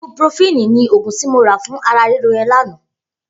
Ibúprófìní ni ógún ti mó rà fùn àrà rìró yèn lànã